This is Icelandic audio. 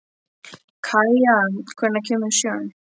Kaía, hvenær kemur sjöan?